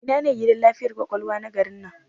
Ina ne gidan lafiyar ƙwaƙwalwa na garin nan?